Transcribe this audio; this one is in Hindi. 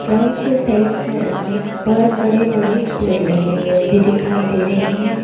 ग्राउंड के साइड साइड में बहुत बड़े बड़े पेड़ लगे हुए भी दिखाई दे रहे हैं।